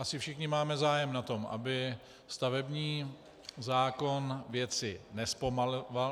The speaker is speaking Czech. Asi všichni máme zájem na tom, aby stavební zákon věci nezpomaloval.